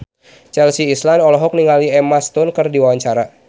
Chelsea Islan olohok ningali Emma Stone keur diwawancara